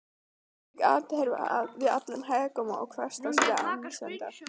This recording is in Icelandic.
hvílík andhverfa við allan hégóma okkar hversdagslegu annsemdar!